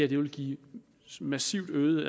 vil give massivt øgede